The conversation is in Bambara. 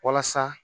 Walasa